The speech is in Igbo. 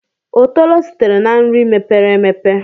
Otolo sitere na nri mepere emepe.